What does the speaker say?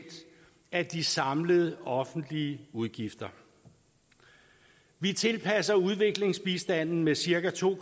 af de samlede offentlige udgifter vi tilpasser udviklingsbistanden med cirka to